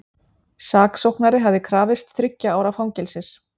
Saksóknari hafði krafist þriggja ára fangelsis